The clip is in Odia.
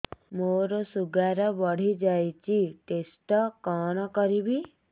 ମୋର ଶୁଗାର ବଢିଯାଇଛି ଟେଷ୍ଟ କଣ କରିବି